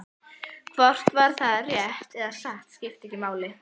Hvort það var rétt og satt skipti ekki máli.